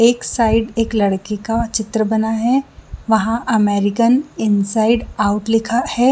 एक साइड एक लड़की का चित्र बना है वहा अमेरिकन इनसाइड आउट लिखा है।